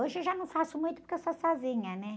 Hoje eu já não faço muito porque eu sou sozinha, né?